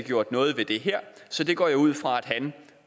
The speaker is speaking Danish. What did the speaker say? gjort noget ved det her så det går jeg ud fra at han